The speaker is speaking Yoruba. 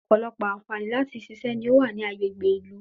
Ọ̀pọ̀lọpọ̀ àǹfààní láti ṣiṣẹ́ ni ó wà ní agbègbè ìlú